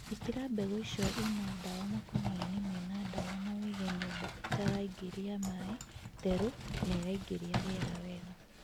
Īkĩra mbegũ icio ina dawa makũniainĩ mena dawa na ũige nyũmba ĩtaraingĩria maĩ ,theru na ĩraingĩria rĩera wega